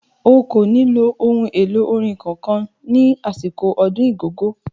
O kò ní lo ohun èlò orin kankan ní àsìkò ọdún Igogo.